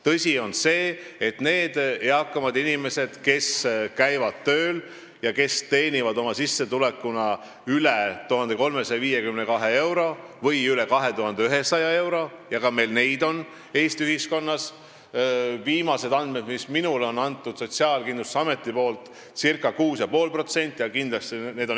Tõsi on see, et viimastel andmetel, mis on minule antud Sotsiaalkindlustusametist, on neid eakaid inimesi, kes käivad tööl ja teenivad oma sissetulekuna üle 1352 euro või üle 2100 euro – ka neid on meil Eesti ühiskonnas –, circa 6,5%.